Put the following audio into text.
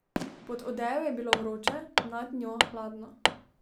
Pod odejo je bilo vroče, nad njo hladno.